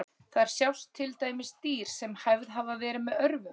Þar sjást til dæmis dýr sem hæfð hafa verið með örvum.